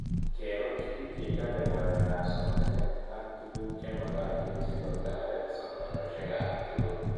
Kekoch pik che chope ng'alek ab somanet ak tuguk chemakatin sikotaret somanoshek ab tuggul